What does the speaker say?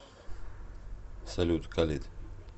салют халид